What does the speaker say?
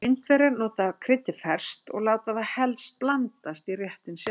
Indverjar nota kryddið ferskt og láta það helst blandast í réttinum sjálfum.